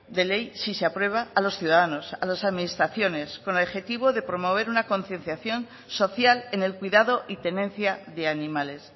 de ley si se aprueba a los ciudadanos a las administraciones con el objetivo de promover una concienciación social en el cuidado y tenencia de animales